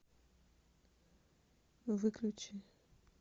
выключи